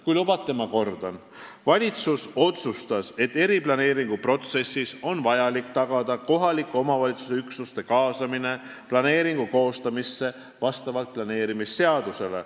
Kui lubate, siis ma kordan: valitsus otsustas, et eriplaneeringu protsessis on vaja tagada kohaliku omavalitsuse üksuste kaasamine planeeringu koostamisse vastavalt planeerimisseadusele.